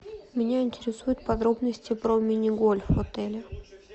меня интересуют подробности про мини гольф в отеле